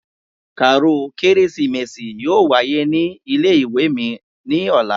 Kàáròl kérésìmesì yóò wáyé ní ilé-ìwé mi ní ọ̀la